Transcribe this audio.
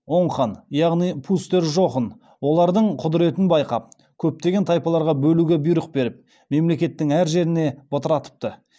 оң хан яғни пустер жохн олардың құдыретін байқап көптеген тайпаларға бөлуге бұйрық беріп мемлекеттің әр жеріне бытыратыпты